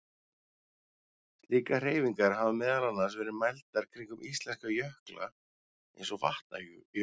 Slíkar hreyfingar hafa meðal annars verið mældar kringum íslenska jökla eins og Vatnajökul.